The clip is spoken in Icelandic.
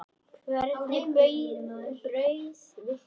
Hvernig brauð viltu?